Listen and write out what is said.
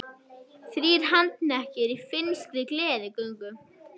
Þrír handteknir í finnskri gleðigöngu